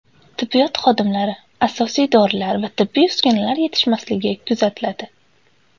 Tibbiyot xodimlari, asosiy dorilar va tibbiy uskunalar yetishmasligi kuzatiladi.